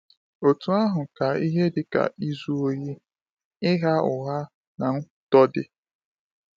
Otú ahụ ka ihe dị ka izu ohi, ịgha ụgha, na nkwutọ dị.